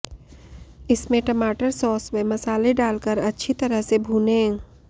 इसमें टमाटर सॉस व मसाले डालकर अच्छी तरह से भूनें